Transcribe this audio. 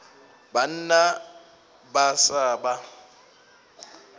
banna ba a sa ba